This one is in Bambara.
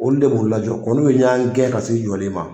Olu de b'u lajɔ ko nu de y'an gɛn ka s'e jɔlen ma